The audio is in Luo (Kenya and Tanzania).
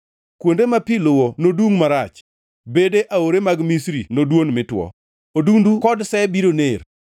Kuonde ma pi luwo nodungʼ marach; bede aore mag Misri nodwon mi two. Odundu kod se biro ner,